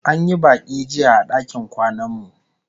An yi baki jiya a dakin kwanan mu